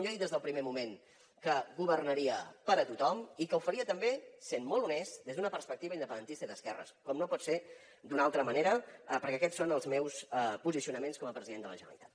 jo he dit des del primer moment que governaria per a tothom i que ho faria també sent molt honest des d’una perspectiva independentista i d’esquerres com no pot ser d’una altra manera perquè aquests són els meus posicionaments com a president de la generalitat